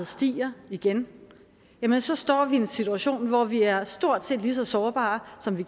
stiger igen så står vi i en situation hvor vi er stort set lige så sårbare som vi